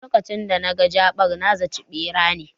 Lokacin da naga jaɓar, na zaci ɓera ne